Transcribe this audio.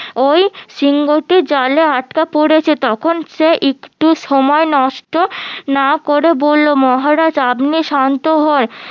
ওই সিংহটি জালে আটকা পড়েছে তখন একটু সময় নষ্ট না করে বললো মহারাজ আপনি শান্ত হন